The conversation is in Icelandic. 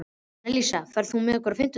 Annalísa, ferð þú með okkur á fimmtudaginn?